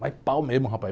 Mas pau mesmo, rapaz.